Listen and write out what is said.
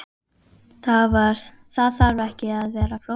Það þarf ekki að vera flókið.